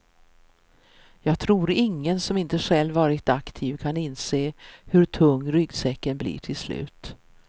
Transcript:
Jag tror ingen som inte själv varit aktiv kan inse hur tung ryggsäcken blir till slut.